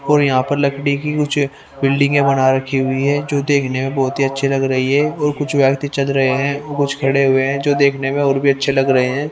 और यहां पर लकडी की कुछ बिल्डिंगे बना रखी हुई है जो देखने में बहोत ही अच्छी लग रही है और कुछ व्यक्ति चल रहे हैं और कुछ खड़े हुए हैं जो देखने में और भी अच्छे लग रहे हैं।